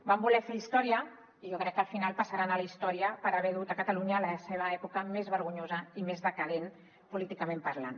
van voler fer història i jo crec que al final passaran a la història per haver dut catalunya a la seva època més vergonyosa i més decadent políticament parlant